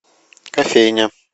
кофейня